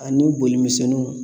Ani boli misɛnninw